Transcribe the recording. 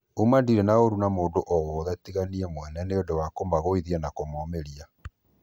Ũma ndĩrĩ na ũru na mũndũ o wothe tiga niĩ mwene nĩũndũ wa kũmagũithia na kũmomĩria.